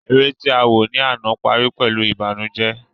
Eré tí awò ní àná parí pẹ̀lú ìbànújẹ